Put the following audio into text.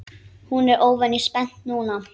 Hún er óvenju spennt núna.